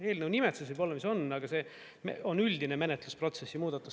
Eelnõu nimetus võib-olla on, mis on, aga see on üldine menetlusprotsessi muudatus.